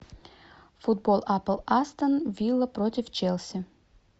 футбол апл астон вилла против челси